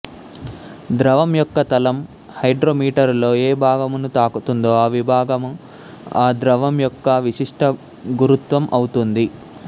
ద్రవం యొక్క తలం హైడ్రోమీటరులో ఏ భాగమును తాకుతుందో ఆ విభాగము ఆ ద్రవం యొక్క విశిష్ట గురుత్వం అవుతుంది